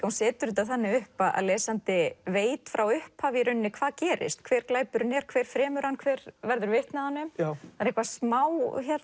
hún setur þetta þannig upp að lesandi veit frá upphafi hvað gerist hver glæpurinn er hver fremur hann hver verður vitni að honum það er eitthvað smá